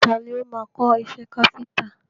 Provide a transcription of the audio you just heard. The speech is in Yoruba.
Tani o máa kọ́ iṣẹ́ káfíńńtà?